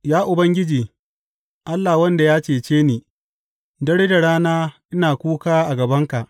Ya Ubangiji, Allah wanda ya cece ni, dare da rana ina kuka a gabanka.